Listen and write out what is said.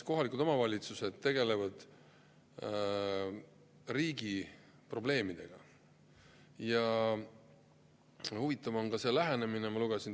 Kohalikud omavalitsused praegu juba tegelevad riigi probleemidega ja see lähenemine on huvitav.